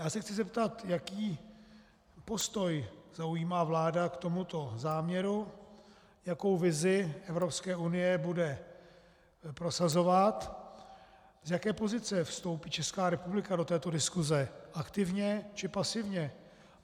Já se chci zeptat, jaký postoj zaujímá vláda k tomuto záměru, jakou vizi Evropské unie bude prosazovat, z jaké pozice vstoupí Česká republika do této diskuse - aktivně, či pasivně.